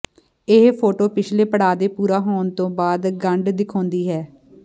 ਇਹ ਫੋਟੋ ਪਿਛਲੇ ਪੜਾਅ ਦੇ ਪੂਰਾ ਹੋਣ ਤੋਂ ਬਾਅਦ ਗੰਢ ਦਿਖਾਉਂਦੀ ਹੈ